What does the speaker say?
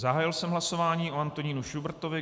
Zahájil jsem hlasování o Antonínu Šubrtovi.